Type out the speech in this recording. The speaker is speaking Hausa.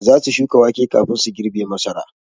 Za su shuka wake kafin su girbe masara.